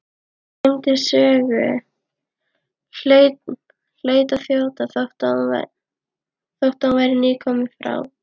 Gleymdi sögu, hlaut að þjóta þótt hún væri nýkomin frá